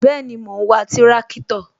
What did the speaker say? Bẹẹni, mo ń wa tirakitọ